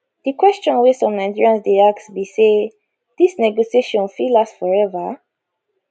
di question wey some nigerians dey ask be say dis negotiation fit last forever